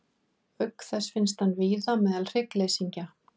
Auk þess finnst hann víða meðal hryggleysingja.